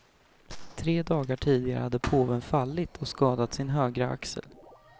Tre dagar tidigare hade påven fallit och skadat sin högra axel.